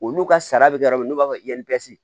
Olu ka sara be yɔrɔ min na u b'a fɔ